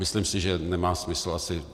Myslím si, že nemá smysl asi...